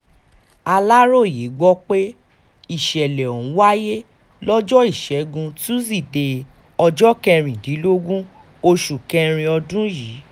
aláròye gbọ́ pé ìṣẹ̀lẹ̀ ọ̀hún wáyé lọ́jọ́ ìṣẹ́gun tusidee ọjọ́ kẹrìndínlógún oṣù kẹrin ọdún yìí